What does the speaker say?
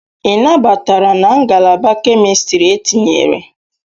Ị nabatara na Ngalaba Kemistri etinyere?